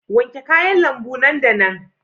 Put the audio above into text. Wanke kayan lambu nan da nan.